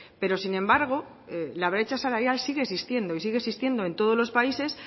pero sin embargo la brecha salarial siguen existiendo y sigue existiendo en todos los países